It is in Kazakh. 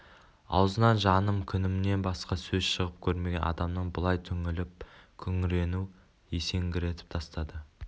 аузынан жаным күнімнен басқа сөз шығып көрмеген адамның бұлай түңіліп күңірену есеңгіретіп тастады